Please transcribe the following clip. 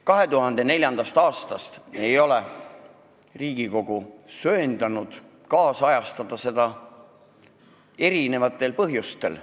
2004. aastast ei ole Riigikogu söandanud meie autoriõiguse seadust ajakohastada, mitmel põhjusel.